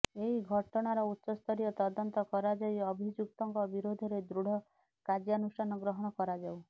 ଏହି ଘଟଣାର ଉଚ୍ଚସ୍ତରୀୟ ତଦନ୍ତ କରାଯାଇ ଅଭିଯୁକ୍ତଙ୍କ ବିରୋଧରେ ଦୃଢ଼ କାର୍ଯ୍ୟାନୁଷ୍ଠାନ ଗ୍ରହଣ କରାଯାଉ